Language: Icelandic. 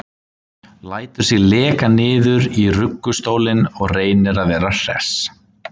Lætur sig leka niður í ruggustólinn og reynir að vera hress.